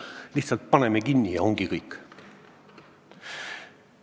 Lihtsalt paneme kinni ja ongi kõik.